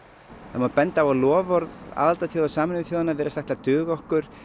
það má benda á að loforð aðildarþjóða Sameinuðu þjóðanna virðast ætla að duga okkur